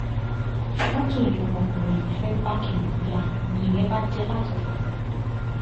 fọ́tò ni ọmọkùnrin yìí fẹ́ẹ́ bá kiníùn yá nìyẹn bà jẹ́ lájẹbàjẹ́